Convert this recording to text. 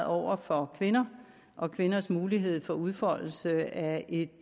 over for kvinder og kvinders mulighed for udfoldelse af et